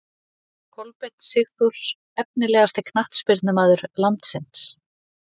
Kolbeinn Sigþórs Efnilegasti knattspyrnumaður landsins?